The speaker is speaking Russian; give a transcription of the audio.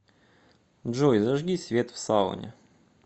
джой зажги свет в сауне